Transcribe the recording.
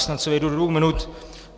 Snad se vejdu do dvou minut.